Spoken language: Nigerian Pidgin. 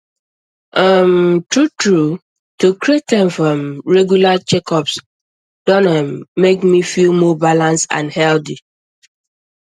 um truetrue to create time for um regular checkups don um make me feel more balanced and healthy